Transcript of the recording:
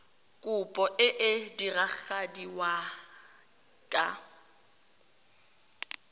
kopo e e diragadiwa ka